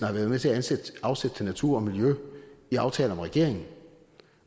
har været med til at afsætte til natur og miljø i aftaler med regeringen